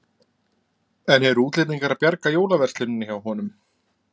En eru útlendingar að bjarga jólaversluninni hjá honum?